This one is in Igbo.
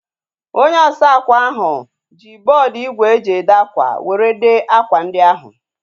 Onye osa akwa ahu ji bọọdu igwe e ji ede akwa were dee akwa ndi ahu